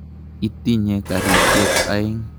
Itinye karisyek aeng'.